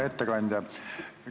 Hea ettekandja!